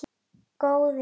Góði Guð.